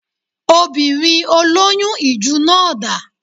Obìnrin olóyún ìju náà dà?